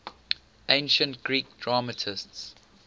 ancient greek dramatists